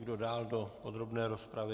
Kdo dál do podrobné rozpravy?